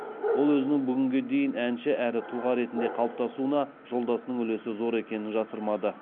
ол өзінің бүгінгідей әнші әрі тұлға ретінде қалыптасуында жолдасының үлесі зор екенін жасырмады